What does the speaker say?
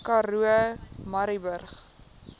karoo murrayburg